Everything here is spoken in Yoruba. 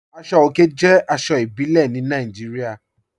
Aṣọ̀ ọ̀kè jẹ́ aṣọ̀ ìbílẹ̀ ní Nàìjíríà.